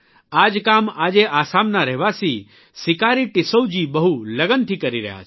આ જ કામ આજે આસામના રહેવાસી સિકારી ટિસ્સૌ જી બહુ લગનથી કરી રહ્યા છે